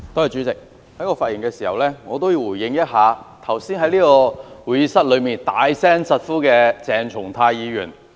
主席，我發言想回應一下剛才在會議廳內大聲疾呼的鄭松泰議員。